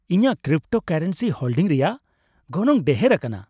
ᱤᱧᱟᱹᱜ cryptocurrency holding ᱨᱮᱭᱟᱜ ᱜᱚᱱᱚᱝ ᱰᱷᱮᱨ ᱟᱠᱟᱱᱟ ᱾